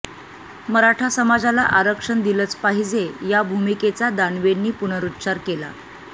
मराठा समाजाला आरक्षण दिलंच पाहिजे या भूमिकेचा दानवेंनी पुनरुच्चार केला